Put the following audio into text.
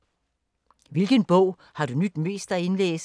2) Hvilken bog har du nydt mest at indlæse?